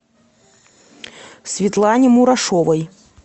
светлане мурашовой